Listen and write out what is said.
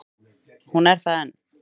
Hún er það enn.